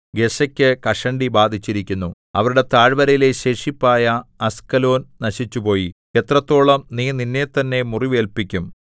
ഗസ്സയ്ക്ക് കഷണ്ടി ബാധിച്ചിരിക്കുന്നു അവരുടെ താഴ്വരയിലെ ശേഷിപ്പായ അസ്കലോൻ നശിച്ചുപോയി എത്രത്തോളം നീ നിന്നെത്തന്നെ മുറിവേല്പിക്കും